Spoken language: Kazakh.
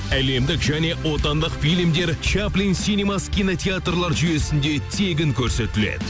әлемдік және отандық фильмдер чаплин синемас кинотеатрлар жүйесінде тегін көрсетіледі